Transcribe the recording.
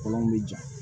Kɔlɔn be ja